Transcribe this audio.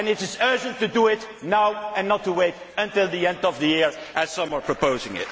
now. And it is urgent to do it now and not to wait until the end of the year, as some are proposing.